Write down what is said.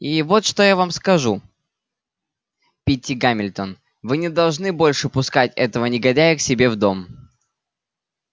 и вот что я вам скажу питти гамильтон вы не должны больше пускать этого негодяя к себе в дом